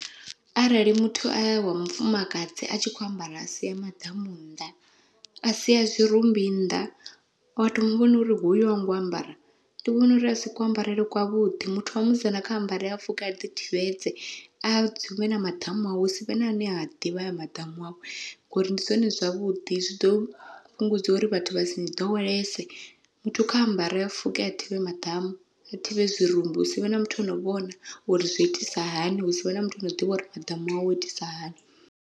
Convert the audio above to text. Arali muthu a wa mufumakadzi a tshi kho ambara a sia maḓamu nnḓa, a sia zwirumbi nnḓa wa to muvhona uri hoyu hango ambara ndi vhona uri asi kuambarele kwa vhuḓi, muthu wa musidzana kha ambare a fuke a ḓi thivhedze a dzumbe na maḓamu awe ha sivhe na ane a ḓivha hayo maḓamu awe. Ngori ndi zwone zwavhuḓi zwi ḓo fhungudza uri vhathu vha si ni ḓowelese, muthu kha ambare a fuke a thivhe maḓamu a thivhe zwirumbi hu sivhe na muthu ano vhona uri zwo itisa hani, ha sivhe na muthu ano ḓivha uri maḓamu awe o itisa hani.